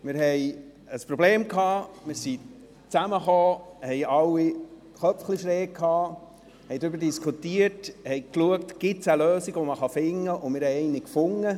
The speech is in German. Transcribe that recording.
Wir hatten ein Problem, kamen zusammen, hielten alle die Köpfe ein bisschen schief, diskutierten darüber und schauten, ob es eine Lösung gibt, die man finden kann, und wir haben eine gefunden.